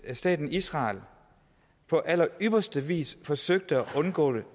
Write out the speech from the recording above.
at staten israel på allerypperste vis forsøgte at undgå